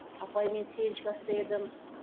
апай мен сегізінші класта едім